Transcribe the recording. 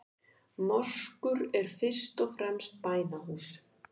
Moskur eru fyrst og fremst bænahús.